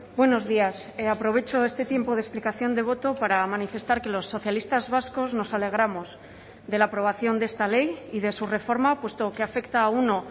buenos días aprovecho este tiempo de explicación de voto para manifestar que los socialistas vascos nos alegramos de la aprobación de esta ley y de su reforma puesto que afecta a uno